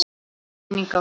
Blessuð sé minning Ástu.